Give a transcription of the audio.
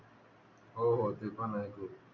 हो होते पण आहे कि